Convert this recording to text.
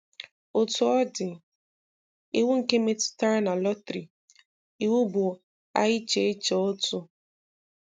Otú ọ dị, iwu nke metụtara na lọtrì iwu bụ à iche iche otu.